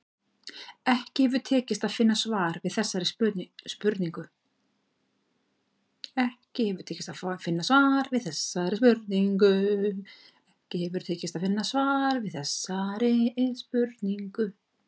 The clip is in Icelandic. Ekki hefur tekist að finna svar við þessari spurningu.